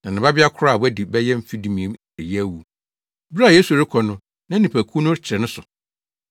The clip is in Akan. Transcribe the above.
na ne babea koro a wadi bɛyɛ mfe dumien reyɛ awu. Bere a Yesu rekɔ no na nnipakuw no kyere ne so.